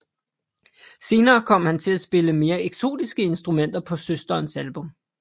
Senere kom han til at spille mere eksotiske instrumenter på søsterens album